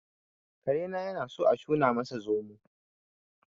Karena yanasan a shuna masa zomo